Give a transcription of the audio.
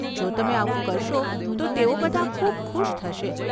જો તમે આવું કરશો તો તેઓ બધા ખૂબ ખુશ થશે.